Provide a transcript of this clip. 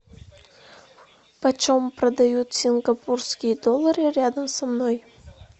почем продают сингапурские доллары рядом со мной